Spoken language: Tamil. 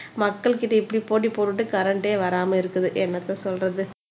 மக்கள்கிட்ட இப்படி போட்டி போட்டுட்டு கரண்டே வராம இருக்குது என்னத்த சொல்றது